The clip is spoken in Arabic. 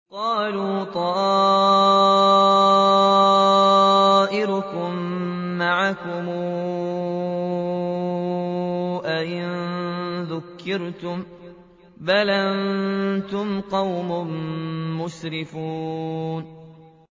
قَالُوا طَائِرُكُم مَّعَكُمْ ۚ أَئِن ذُكِّرْتُم ۚ بَلْ أَنتُمْ قَوْمٌ مُّسْرِفُونَ